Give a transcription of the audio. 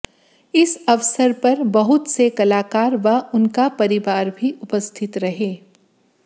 इस अवसर पर बहुत से कलाकार व उनका परिवार भी उपस्थित रहे